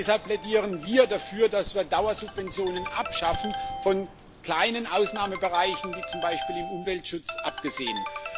Deshalb plädieren wir dafür, dass wir Dauersubventionen abschaffen, von kleinen Ausnahmebereichen wie zum Beispiel dem Umweltschutz abgesehen.